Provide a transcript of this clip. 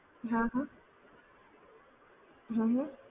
હા હ, હ હ